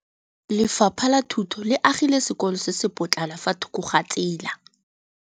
Lefapha la Thuto le agile sekôlô se se pôtlana fa thoko ga tsela.